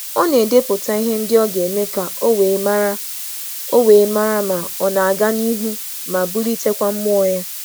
Ọ na-eme ndepụta anya ka ọ lelee ihe ọ rụzuru ma bụrụ onye nwere mmụọ ịga n’ihu.